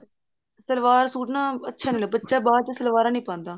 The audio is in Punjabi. ਸਲਵਾਰ ਸੂਟ ਨਾ ਅੱਛਾ ਨੀ ਲੱਗਦਾ ਬੱਚਾ ਬਾਅਦ ਚ ਸਲਵਾਰਾਂ ਨੀ ਪਾਉਂਦਾ